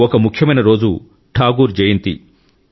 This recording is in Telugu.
ఒక ముఖ్యమైన రోజు ఠాగూర్ జయంతి